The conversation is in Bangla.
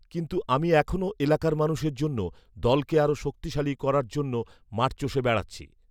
কিনতু আমি এখনও এলাকার মানুষের জন্য, দলকে আরও শক্তিশালী করার জন্য মাঠ চষে বেড়াচ্ছি